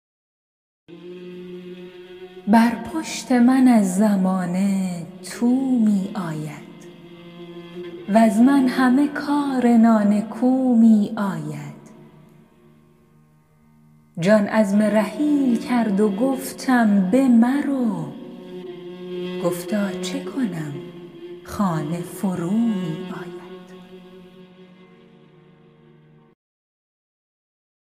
بر پشت من از زمانه تو می آید وز من همه کار نانکو می آید جان عزم رحیل کرد و گفتم بمرو گفتا چه کنم خانه فرومی آید